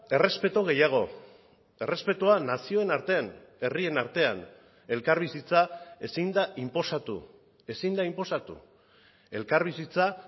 errespetu gehiago errespetua nazioen artean herrien artean elkarbizitza ezin da inposatu ezin da inposatu elkarbizitza